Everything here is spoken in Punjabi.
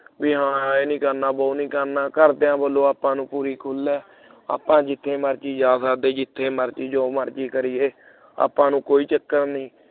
ਬਈ ਹਾਂ ਇਹ ਨਹੀਂ ਕਰਨਾ ਵੋ ਨਹੀਂ ਕਰਨਾ ਘਰਦਿਆਂ ਵੱਲੋਂ ਆਪਾਂ ਨੂੰ ਪੂਰੀ ਖੁੱਲ੍ਹ ਹੈ ਆਪਾਂ ਜਿੱਥੇ ਮਰਜ਼ੀ ਜਾ ਸਕਦੈ ਜਿੱਥੇ ਮਰਜ਼ੀ ਜੋ ਮਰਜੀ ਕਰੀ ਏ ਆਪਾਂ ਨੂੰ ਕੋਈ ਚਕਰ ਨਹੀਂ